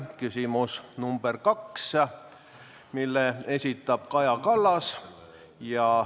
Küsimus number kaks, mille esitab Kaja Kallas.